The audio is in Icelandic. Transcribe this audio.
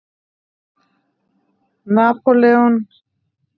Napóleon á dánarbeði.